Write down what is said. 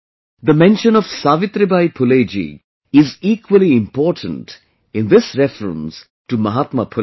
the mention of Savitribai Phule ji is equally important in this reference to Mahatma Phule